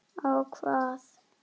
á hvað?